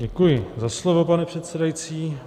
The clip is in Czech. Děkuji za slovo, pane předsedající.